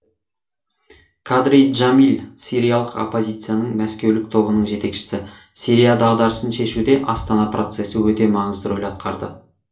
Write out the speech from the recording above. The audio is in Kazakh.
кадри джамиль сириялық оппозицияның мәскеулік тобының жетекшісі сирия дағдарысын шешуде астана процесі өте маңызды рөл атқарды